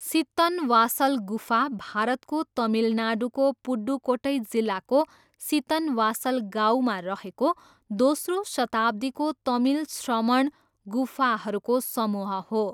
सित्तनवासल गुफा भारतको तमिलनाडुको पुदुकोट्टई जिल्लाको सित्तनवासल गाउँमा रहेको दोस्रो शताब्दीको तमिल श्रमण गुफाहरूको समूह हो।